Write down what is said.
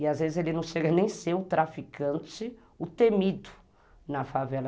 E às vezes ele não chega nem a ser o traficante, o temido na favela.